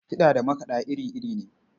Kiɗa da makaɗa iri-iri ne.